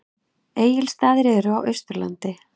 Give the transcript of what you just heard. Egilsstaðir eru á Austurlandi.